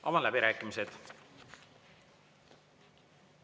Avan läbirääkimised.